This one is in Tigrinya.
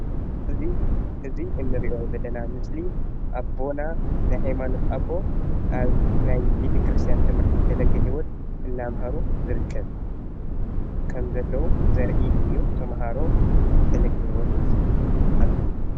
እዚ እንሪኦ ዘለና ምስሊ ኣቦና ናይ ሃይማኖት ኣቦ ኣብ ናይ ቤተ ክርትስትያን ትምህርቲ ፈለገ ሂወት እንዳምሃሩ ይርከብ ከም ዘለው ዘርኢ እዩ ።ተምሃሮ ፈለገ ሂወት ኣለው።